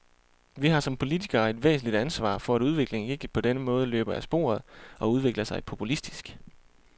Vi har som politikere et væsentligt ansvar for, at udviklingen ikke på denne måde løber af sporet og udvikler sig populistisk.